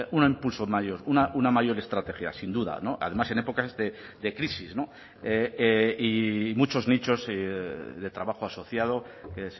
un impulso mayor una mayor estrategia sin duda además en épocas de crisis y muchos nichos de trabajo asociado que